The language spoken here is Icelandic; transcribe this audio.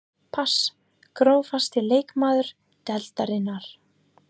pass Grófasti leikmaður deildarinnar?